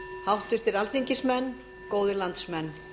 háttvirtir alþingismenn góðir landsmenn